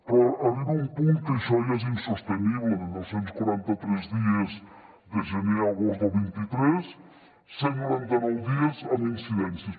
però arriba un punt que això ja és insostenible de dos cents i quaranta tres dies de gener a agost del vint tres cent i noranta nou dies amb incidències